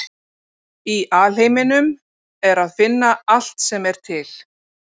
Í alheiminum er að finna allt sem er til.